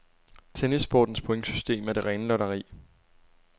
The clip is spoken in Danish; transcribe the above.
Tennissportens pointsystem er det rene lotteri.